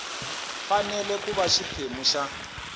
fanele ku va xiphemu xa